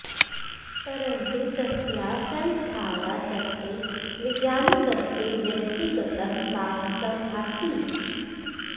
परन्तु तस्याः संस्थायाः तस्य वैज्ञानिकस्य व्यक्तिगतं साहसम् आसीत्